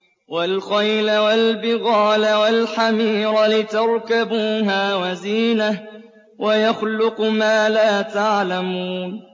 وَالْخَيْلَ وَالْبِغَالَ وَالْحَمِيرَ لِتَرْكَبُوهَا وَزِينَةً ۚ وَيَخْلُقُ مَا لَا تَعْلَمُونَ